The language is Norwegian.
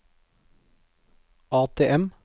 ATM